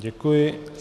Děkuji.